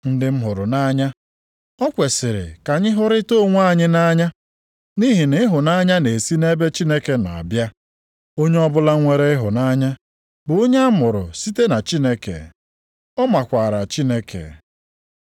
Ndị m hụrụ nʼanya, o kwesiri ka anyị hụrịtaa onwe anyị nʼanya, nʼihi na ịhụnanya na-esi nʼebe Chineke nọ abịa. Onye ọbụla nwere ịhụnanya bụ onye amụrụ site na Chineke, ọ makwara Chineke.